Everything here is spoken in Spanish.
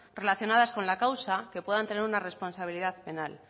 relacionadas con la causa que puedan tener una responsabilidad penal